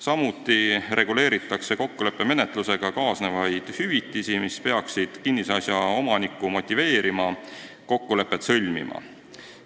Samuti reguleeritakse kokkuleppemenetlusega kaasnevaid hüvitisi, mis peaksid kinnisasja omanikku motiveerima kokkulepet sõlmima.